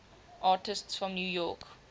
artists from new york